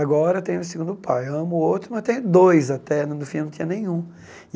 Agora tem o segundo pai, amo o outro, mas tem dois até, no fim eu não tinha nenhum.